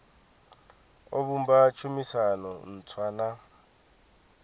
o vhumba tshumisano ntswa na